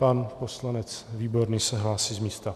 Pan poslanec Výborný se hlásí z místa.